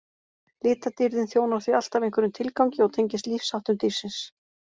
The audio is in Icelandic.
Litadýrðin þjónar því alltaf einhverjum tilgangi og tengist lífsháttum dýrsins.